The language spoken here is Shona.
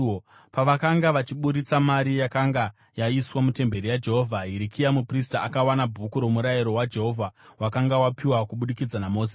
Pavakanga vachiburitsa mari yakanga yaiswa mutemberi yaJehovha, Hirikia muprista akawana Bhuku roMurayiro waJehovha wakanga wapiwa kubudikidza naMozisi.